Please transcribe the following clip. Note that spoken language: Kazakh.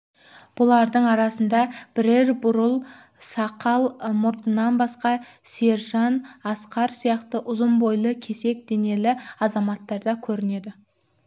бұлардың арасында бірер бурыл сақал қарттан басқа сержан асқар сияқты ұзын бойлы кесек денелі азаматтар да көрінеді